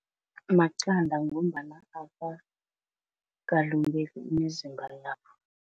Maqanda ngombana akakalungeli imizimba yabo.